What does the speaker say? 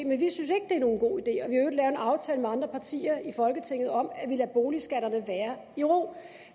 og en aftale med andre partier i folketinget om at lade boligskatterne være i ro